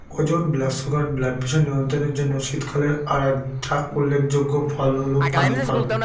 ওজন blood sugar blood pressure নিয়ন্ত্রণের জন্য শীতকালে আর একটা উল্লেখযোগ্য ফল হলো পানি ফল